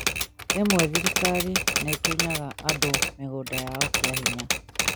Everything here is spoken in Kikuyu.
Rimwe thirikari nĩ ĩtunyaga andũ mĩgũnda yao kĩa hinya